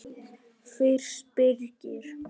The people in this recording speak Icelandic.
Fyrst Birgir